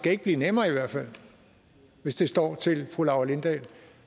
ikke blive nemmere altså hvis det står til fru laura lindahl